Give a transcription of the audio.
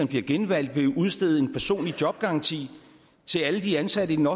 bliver genvalgt vil udstede en personlig jobgaranti til alle de ansatte i den